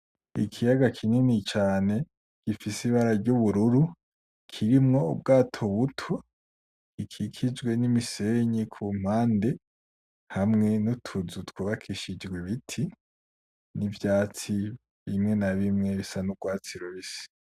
Ikiyaga kinini cane gifise ibara ry'ubururu kirimwo ubwato buto gikikijwe n'imisenyi kumpande hamwe n’utuzu twubakishije ibiti n'ivyatsi bimwe na bimwe bisa n'urwatsi rubisi.